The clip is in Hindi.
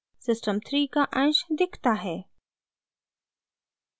सिस्टम 3 का अंश दिखता है